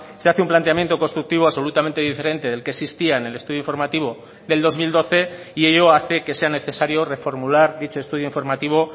se hace un planteamiento constructivo absolutamente diferente del que existía en el estudio informativo del dos mil doce y ello hace que sea necesario reformular dicho estudio informativo